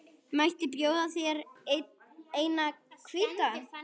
Mætti bjóða þér eina hvíta.